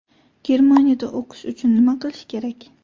Germaniyada o‘qish uchun nima qilish kerak?